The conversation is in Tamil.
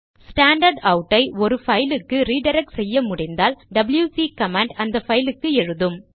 ஸ்டாண்டர்ட்அவுட் ஐ ஒரு பைலுக்கு ரிடிரக்ட் செய்ய முடிந்தால் டபில்யுசி கமாண்ட் அந்த பைலுக்கு எழுதும்